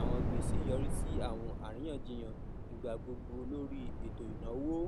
awọn gbese yori si awọn ariyanjiyan igba gbogbo lori eto inawo